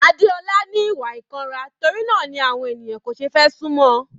Adeola ni ìwà ìkanra torí náà ni àwọn ènìyàn kò fẹ́ sún mọ́ ọn.